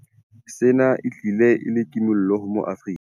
Sena se tlile e le kimollo ho maAfrika.